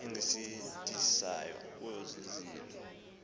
engakusindisayo kwozi zilo